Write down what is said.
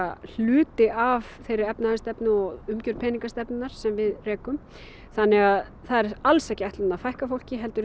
hluti af þeirri efnahagsstefnu og umgjörð peningastefnunnar sem við rekum þannig að það er alls ekki ætlunin að fækka fólki heldur